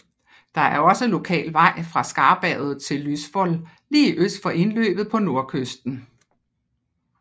Der er også lokal vej fra Skarberget til Lysvoll lige øst for indløbet på nordkysten